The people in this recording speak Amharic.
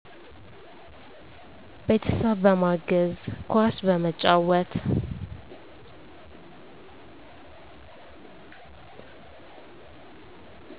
ቤተሰብ በማገዝ፣ ኳስ በመጫወት